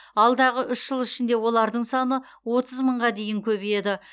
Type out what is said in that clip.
алдағы үш жыл ішінде олардың саны отыз мыңға дейін көбейеді